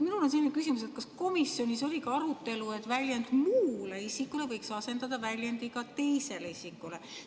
Minul on selline küsimus: kas komisjonis oli arutelu ka selle üle, et väljend "muule isikule" asendada väljendiga "teisele isikule"?